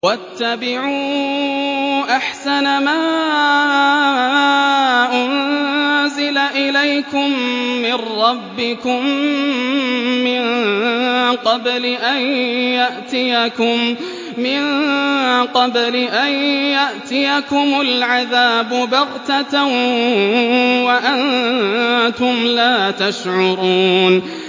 وَاتَّبِعُوا أَحْسَنَ مَا أُنزِلَ إِلَيْكُم مِّن رَّبِّكُم مِّن قَبْلِ أَن يَأْتِيَكُمُ الْعَذَابُ بَغْتَةً وَأَنتُمْ لَا تَشْعُرُونَ